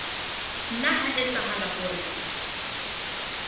nna ha etsahala hore o